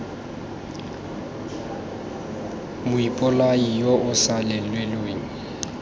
moipolai yo o sa lelelweng